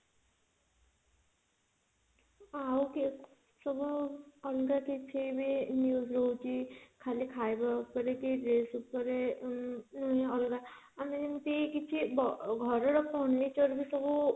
ହଁ ଆଉ କେତେ ସବୁ ଅଲଗା କିଛି ବି news ରହୁଛି ଖାଲି ଖାଇବା ଉପରେ କି dress ଉପରେ ଉଁ ନୁହେଁ ଅଲଗା ଆମେ ଯେମିତି କିଛି ଘରର furniture ସବୁ